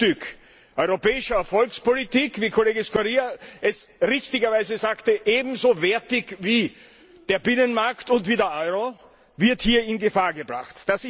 Ein Herzstück europäischer Erfolgspolitik wie Kollege Scurria richtigerweise sagte ebenso wertig wie der Binnenmarkt und der Euro, wird hier in Gefahr gebracht.